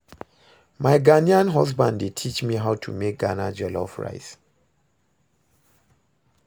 My Ghanaian husband dey teach me how to make Ghana jollof rice